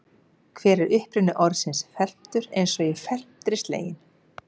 Hver er uppruni orðsins felmtur eins og í felmtri sleginn?